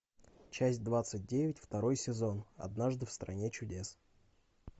часть двадцать девять второй сезон однажды в стране чудес